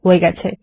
হয়ে গেছে